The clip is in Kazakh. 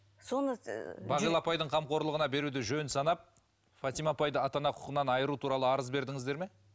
соны ыыы бағила апайдың қамқорлығына беруді жөн санап фатима апайды ата ана құқығынан айыру туралы арыз бердіңіздер ме